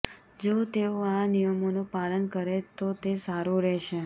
જો તેઓ આ નિયમોનું પાલન કરે તો તે સારું રહેશે